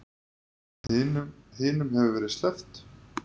Hinum hefur verið sleppt